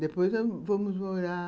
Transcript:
Depois, vamos morar...